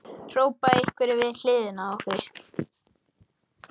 hrópa einhverjir við hliðina á okkur.